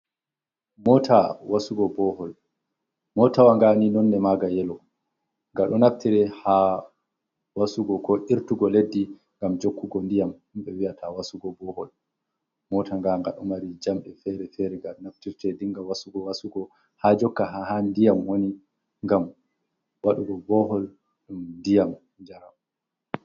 Mota wasugo bohol, motawaga ni nonde maga yelo gaɗo naftire ha wasugo ko irtugo leddi ngam jokkugo diyam ɗum ɓe vi'ata wasugo bohol mota nga ga ɗo mari jamɗe fere-fere ga naftirte dinga wasugo wasugo ha jokka ha diyam woni ngam waɗugo bohol dum diyam jaram.